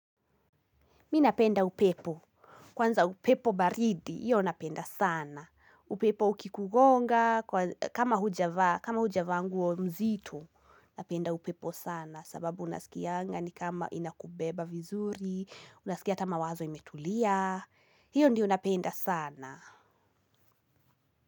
Mimi napenda upepo. Kwanza upepo baridi, hiyo napenda sana. Upepo ukikugonga, kama hujavaa nguo mzito, napenda upepo sana. Sababu unasikianga ni kama inakubeba vizuri, unasikia hata mawazo imetulia. Hiyo ndio napenda sana.